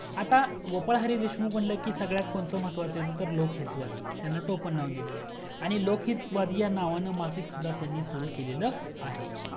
आता गोपाळ हरी देशमुख म्हंटलं की सगळ्यात कोणता महत्वाचा तर लोक हित वादी त्यांना टोपण नाव दिलेले आहे आणि लोक हित वादी या नावानं मासिक सुद्धा त्यांनी सुरू केलेला आहे